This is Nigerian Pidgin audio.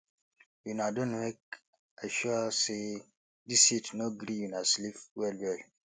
una Accepted wake i sure sey dis heat no gree una sleep wellwell